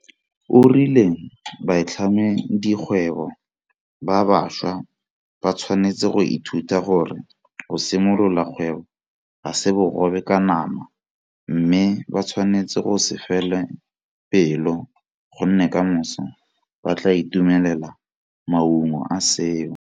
O rile baitlhamedikgwebo ba bašwa ba tshwanetse go ithuta gore go simolola kgwebo ga se bogobe ka nama mme ba tshwanetse go se fele pelo gonne kamoso ba tla itumelela maungo a seo.